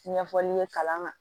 Ɲɛfɔli ye kalan na